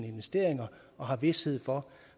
investeringer og har vished for